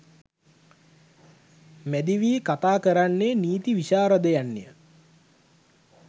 මැදිවී කතා කරන්නේ නීති විශාරදයන්ය.